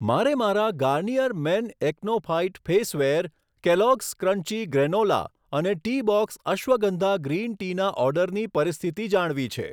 મારે મારા Garnier men Acno fight face wear, Kellogg's crunchy granola અને ટીબોક્સ અશ્વગંધા ગ્રીન ટીના ઓર્ડરની પરિસ્થિતિ જાણવી છે.